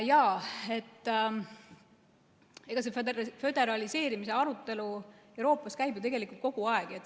Jaa, föderaliseerimise arutelu Euroopas käib ju tegelikult kogu aeg.